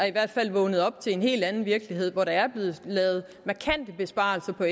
i hvert fald er vågnet op til en helt anden virkelighed hvor der er blevet lavet markante besparelser på